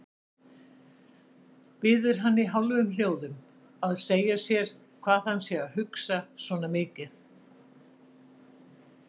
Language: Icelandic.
Biður hann í hálfum hljóðum að segja sér hvað hann sé að hugsa svona mikið.